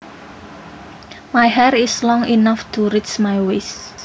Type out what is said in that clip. My hair is long enough to reach my waist